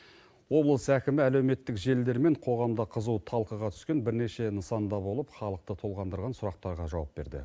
облыс әкімі әлеуметтік желілер мен қоғамда қызу талқыға түскен бірнеше нысанда болып халықты толғандырған сұрақтарға жауап берді